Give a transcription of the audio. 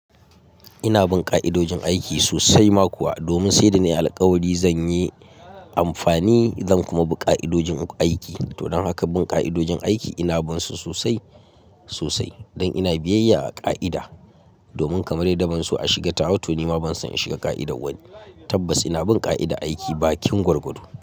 Ina bin ƙa'idojin aiki sosai ma kuwa, domin sai da na yi alƙawari zan yi amfani zan kuma bi ƙa'idojin aiki. Don haka bin ƙa'idojin aiki ina bin su sosai sosai don ina biyayya a ƙa'ida domin kamar yadd ban so a shiga tawa to nima ban son in shiga ƙa'idar wani. Tabbas ina bin ƙa'ida aiki bakin gwargwado.